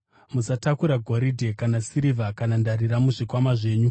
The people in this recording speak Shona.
Musatakura goridhe, kana sirivha kana ndarira, muzvikwama zvenyu;